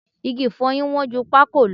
Igi ìfọyín wọ́n ju pákò lọ